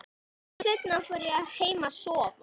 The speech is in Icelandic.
Stuttu seinna fór ég heim að sofa.